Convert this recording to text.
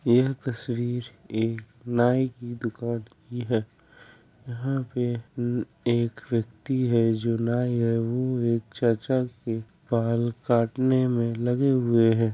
यह तस्वीर एक नाई की दुकान की है। यहां पे एक व्यक्ति है जो नाई है वो एक चाचा के बाल काटने में लगे हुए हैं।